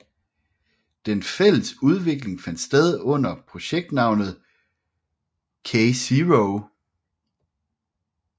Den fælles udvikling fandt sted under projektnavnet KZéro